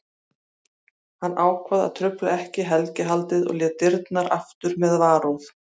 Hann ákvað að trufla ekki helgihaldið og lét dyrnar aftur með varúð.